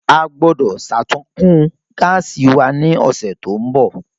A gbọ́dọ̀ sàtúnkún gáàsì wa ní ọ̀sẹ̀ tó ń bọ̀